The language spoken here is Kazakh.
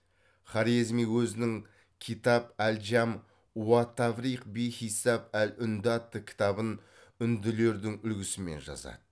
хорезми өзінің китап әл джам уат тафрих би хисап әл үнді атты кітабын үнділердің үлгісімен жазады